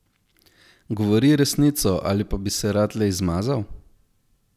Govori resnico, ali pa bi se rad le izmazal?